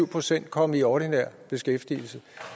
procent kom i ordinær beskæftigelse